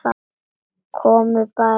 Komiði bara núna.